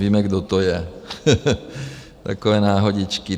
Víme, kdo to je, takové náhodičky.